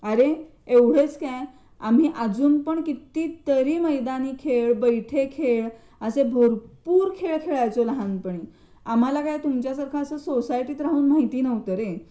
अरे एवढेच काय आम्ही अजून कितीतरी मैदानी खेळ बैठे खेळ असे भरपूर खेळ खेळायचो लहानपणी आम्हाला काय तुमच्या सारखा सोसायटी राहून माहिती नव्हतं रे.